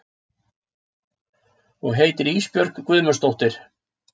Og heitir Ísbjörg Guðmundsdóttir.